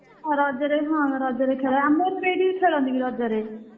ହଁ ରଜରେ ହଁ ରଜରେ ଖେଳେ ଆମର ବି ଏଇଠି ଖେଳନ୍ତି ବି ରଜରେ।